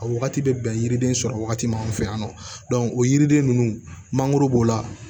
A wagati bɛ bɛn yiriden sɔrɔ wagati min fɛ yan nɔ o yiriden ninnu mangoro b'o la